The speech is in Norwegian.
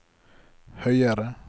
høyere